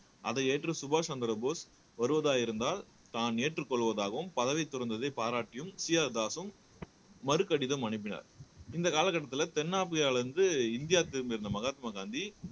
அதை ஏற்று சுபாஷ் சந்திரபோஸ் வருவதாக இருந்தால் தான் ஏற்றுக் கொள்வதாகவும் பதவி துறந்ததை பாராட்டியும் சீ ஆர் தாஸும் மறு கடிதம் அனுப்பினார் இந்த காலகட்டத்தில தென்னாப்பிரியாவிலிருந்து இந்தியா திரும்பியிருந்த மகாத்மா காந்தி